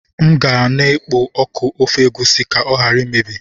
M ga na-ekpo ọkụ ofe egusi ka ọ ghara imebi.